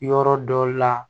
Yɔrɔ dɔ la